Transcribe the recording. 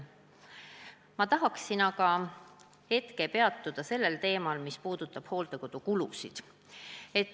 Ma tahaksin aga hetkeks peatuda teemal, mis puudutab hooldekodukulusid.